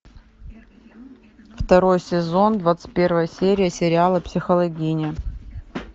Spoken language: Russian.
второй сезон двадцать первая серия сериала психологини